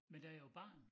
Men da jeg var barn